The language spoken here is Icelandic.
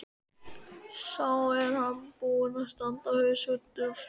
Sá er búinn að standa á haus út af þér!